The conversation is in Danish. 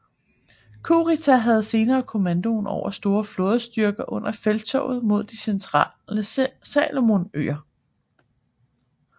Kurita havde senere kommandoen over store flådestyrker under felttoget mod de centrale Salomonøer